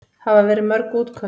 Hafa verið mörg útköll?